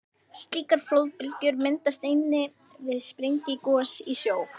Slíkar flóðbylgjur myndast einnig við sprengigos í sjó.